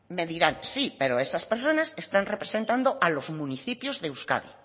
me dirán sí pero esas personas están representando a los municipios de euskadi